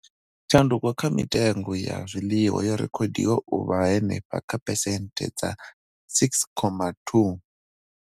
Tshanduko kha mitengo ya zwiḽiwa yo rekhodiwa u vha henefha kha phesenthe dza 6.2.